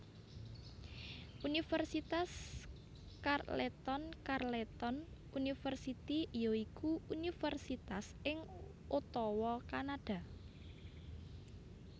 Universitas Carleton Carleton University ya iku universitas ing Ottawa Kanada